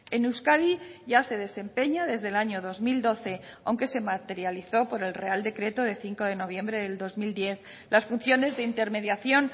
en euskadi ya se desempeña desde el año dos mil doce aunque se materializó por el real decreto de cinco de noviembre del dos mil diez las funciones de intermediación